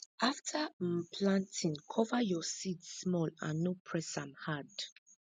afta um planting cover your seeds small and no press am hard